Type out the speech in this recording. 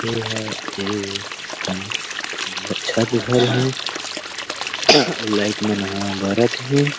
एहा एक ठन घर छत घर हे और लाइट मन ह बरत थे।